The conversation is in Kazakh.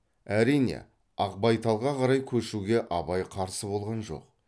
әрине ақбайталдыға қарай көшуге абай қарсы болған жоқ